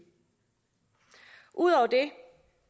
ud over det